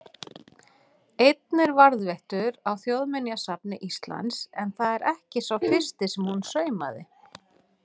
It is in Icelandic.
Einn er varðveittur á Þjóðminjasafni Íslands, en það er ekki sá fyrsti sem hún saumaði.